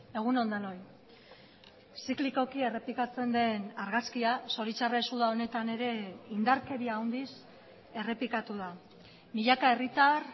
egun on denoi ziklikoki errepikatzen den argazkia zoritxarrez uda honetan ere indarkeria handiz errepikatu da milaka herritar